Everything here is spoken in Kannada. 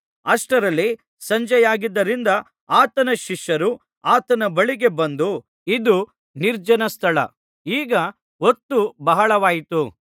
ಅಷ್ಟರಲ್ಲಿ ಸಂಜೆ ಆಗಿದ್ದರಿಂದ ಆತನ ಶಿಷ್ಯರು ಆತನ ಬಳಿಗೆ ಬಂದು ಇದು ನಿರ್ಜನ ಸ್ಥಳ ಈಗ ಹೊತ್ತು ಬಹಳವಾಯಿತು